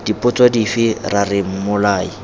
dipotso dife ra re mmolai